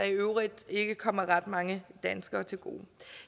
øvrigt ikke kommer ret mange danskere til gode